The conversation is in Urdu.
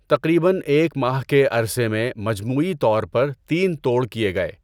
تقریباً ایک ماہ کے عرصے میں مجموعی طور پر تین توڑ کئے گئے۔